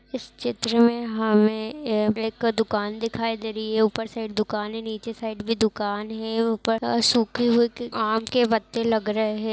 इस चित्र में हमें ये एक दुकान दिखाई दे रही है ऊपर साइड दुकान है नीचे साइड भी दुकान है ऊपर सूखे हुए आम के पत्ते लग रहे है।